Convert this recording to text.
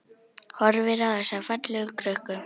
Horfir á þessa fallegu krukku.